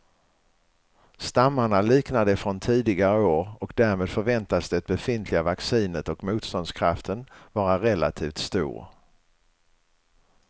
Stammarna liknar de från tidigare år och därmed förväntas det befintliga vaccinet och motståndskraften vara relativt stor.